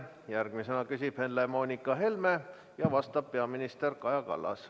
Järgmisena küsib Helle-Moonika Helme ja vastab peaminister Kaja Kallas.